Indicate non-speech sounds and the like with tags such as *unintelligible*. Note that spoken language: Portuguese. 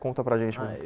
Conta para gente. *unintelligible*